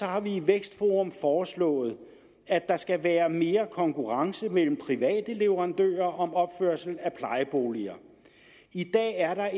har vi i vækstforum foreslået at der skal være mere konkurrence mellem private leverandører om opførelse af plejeboliger i dag er der